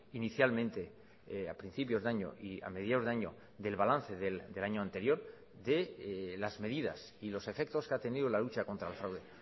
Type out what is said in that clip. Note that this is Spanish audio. inicialmente a principios de año y a mediados de año del balance del año anterior de las medidas y los efectos que ha tenido la lucha contra el fraude